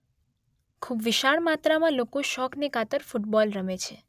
ખુબ જ વિશાળ માત્રામાં લોકો શોખને ખાતર ફુટબોલ રમે છે.